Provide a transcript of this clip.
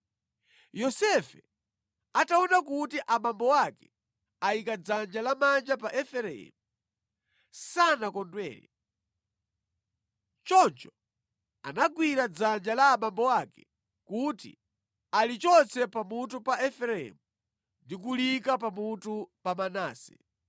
Yosefe ataona kuti abambo ake ayika dzanja lamanja pa Efereimu, sanakondwere. Choncho anagwira dzanja la abambo ake kuti alichotse pamutu pa Efereimu ndi kuliyika pamutu pa Manase,